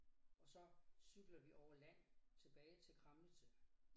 Og så cykler vi over land tilbage til Kramnitze